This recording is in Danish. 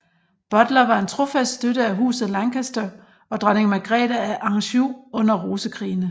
Butler var en trofast støtte af Huset Lancaster og dronning Margrete af Anjou under Rosekrigene